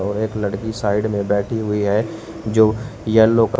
और एक लड़की साइड में बैठी हुई है जो येलो क--